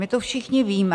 My tu všichni víme...